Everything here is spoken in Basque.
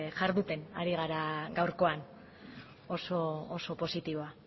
jarduten ari gara gaurkoan oso positiboa